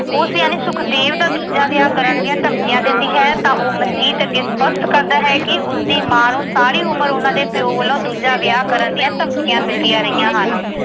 ਉਸ ਯਾਨੀ ਸੁਖਦੇਵ ਦਾ ਦੂਜਾ ਵਿਆਹ ਕਰਨ ਦੀਆਂ ਧਮਕੀਆਂ ਦਿੰਦੀ ਹੈ ਤਾਂ ਉਹ ਮਨਜੀਤ ਅੱਗੇ ਸਪੱਸ਼ਟ ਕਰਦਾ ਹੈ ਕਿ ਉਸਦੀ ਮਾਂ ਨੂੰ ਸਾਰੀ ਉਮਰ ਉਨ੍ਹਾਂ ਦੇ ਪਿਓ ਵੱਲੋਂ ਦੂਜਾ ਵਿਆਹ ਕਰਨ ਦੀਆਂ ਧਮਕੀਆਂ ਮਿਲਦੀਆਂ ਰਹੀਆਂ ਹਨ।